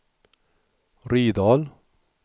Rydal